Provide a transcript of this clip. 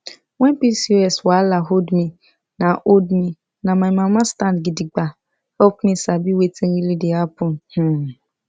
when pcos wahala hold me na hold me na my mama stand gidigba help me sabi wetin really dey happen um